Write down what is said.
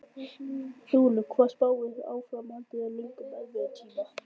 Þulur: Hvað spáirðu áframhaldandi löngum erfiðum tíma?